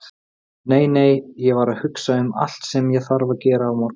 Nei, nei, ég var að hugsa um allt sem ég þarf að gera á morgun.